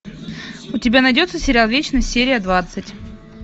у тебя найдется сериал вечность серия двадцать